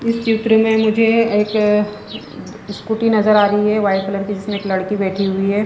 इस चित्र में मुझे एक स्कूटी नजर आ रही हैवाइट कलर की जिसमें एक लड़की बैठी हुई है।